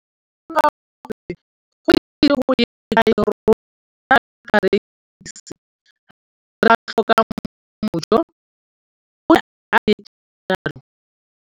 Ke ne ka lemoga gore go ise go ye kae rona jaaka barekise re tla tlhoka mojo, o ne a re jalo.